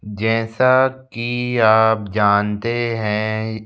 जैसा कि आप जानते हैं।